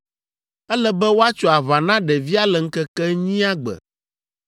Ele be woatso aʋa na ɖevia le ŋkeke enyia gbe.